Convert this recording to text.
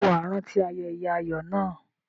Ṣé wà á rántí ayẹyẹ ayọ̀ náà?